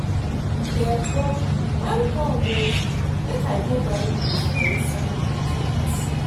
Nebor welcome o, make I go buy goods for inside market.